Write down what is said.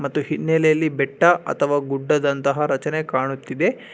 ಮತ್ತು ಹಿನ್ನೆಲೆಯಲ್ಲಿ ಬೆಟ್ಟ ಅಥವಾ ಗುಡ್ಡದಂತ ರಚನೆ ಕಾಣುತ್ತಿದೆ.